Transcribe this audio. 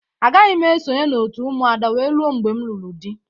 Agaghị m esonye n'òtù Ụmụada wee ruo mgbe m lụrụ di.